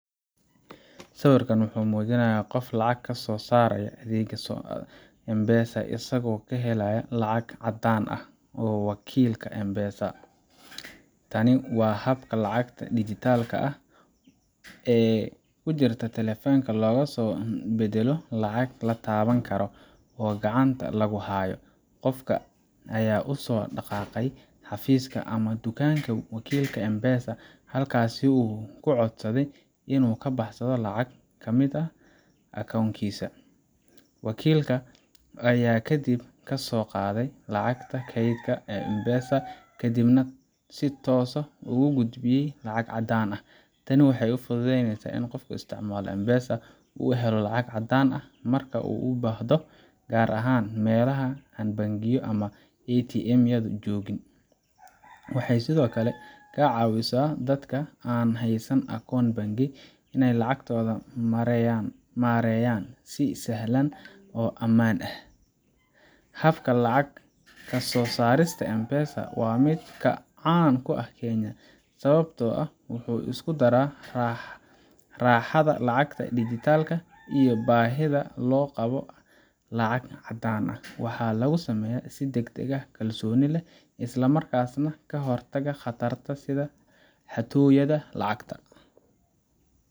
Sawirkan wuxuu muujinayaa qof lacag ka soo saaray adeegga M-Pesa isagoo ka helaya lacag caddaan ah wakiilka M-Pesa Tani waa habka lacagta digitalka ah ee ku jirta taleefanka loogu beddelo lacag la taaban karo oo gacanta lagu hayo. Qofka ayaa u soo dhaqaaqay xafiiska ama dukaanka wakiilka M-Pesa, halkaas oo uu ku codsaday inuu ka baxsho lacag ka mid ah akoonkiisa. Wakiilka ayaa kadib ka soo qaaday lacagta kaydka ah ee M-Pesa, kadibna si toos ah ugu gudbiyay lacag caddaan ah. Tani waxay fududeysaa in qofka isticmaala M-Pesa uu helo lacag caddaan ah marka uu u baahdo, gaar ahaan meelaha aan bangiyo ama ATM yadu joogin. Waxay sidoo kale ka caawisaa dadka aan haysan akoon bangi inay lacagtooda maareeyaan si sahlan oo ammaan ah. Habkan lacag ka soo saarista M-Pesa waa mid caan ku ah Kenya, sababtoo ah wuxuu isku daraa raaxada lacagta digitalka ah iyo baahida loo qabo lacag caddaan ah. Waxaa lagu sameeyaa si degdeg ah, kalsooni leh, isla markaana ka hortaga khataraha sida xatooyada lacagta.